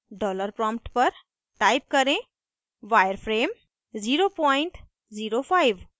dollar prompt पर type करें wireframe 005